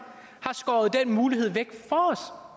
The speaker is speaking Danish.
skåret den mulighed væk